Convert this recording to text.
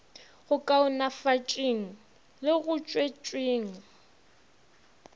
go kaonafatšeng le go tšwetšeng